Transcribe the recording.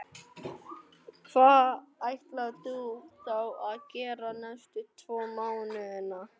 Hvað ætlar þú þá að gera næstu tvo mánuðina?